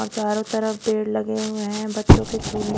अ चारों तरफ पेड़ लगे हुए हैं बच्चों के झूलने--